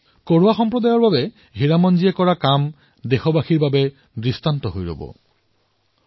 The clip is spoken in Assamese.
কোৰৱা সম্প্ৰদায়ৰ বাবে হীৰামনজীয়ে যি এই কাম কৰিছে সেয়া দেশৰ বাবে এক আদৰ্শ হৈ উঠিছে